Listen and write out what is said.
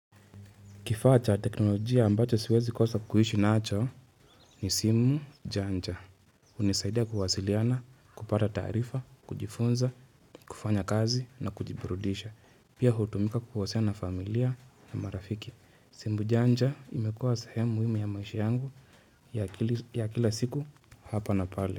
Kifaa cha teknolojia ambacho siwezi kosa kuishi nacho ni simu janja. Hunisaidia kuwasiliana, kupata taarifa, kujifunza, kufanya kazi na kujiburudisha. Pia hutumika kuhusiana na familia na marafiki. Simu janja imekuwa sehemu na ya maisha yangu ya kila siku hapa na pale.